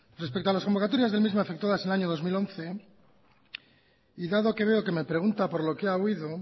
respecto a las convocatorias del mismo efectuadas en el año dos mil once y dado que veo que me pregunta por lo que ha oído